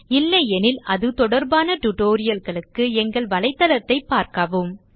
இல்லையெனில் அது தொடர்பான tutorial க்கு எங்கள் தளத்தைப் பார்க்கவும்